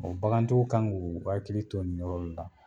bagantigiw kan k'u hakili tot nin yɔrɔ de la.